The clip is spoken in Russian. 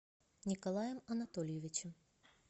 николаем анатольевичем